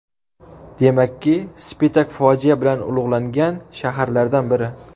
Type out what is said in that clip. Demakki, Spitak fojia bilan ulug‘langan shaharlardan biri.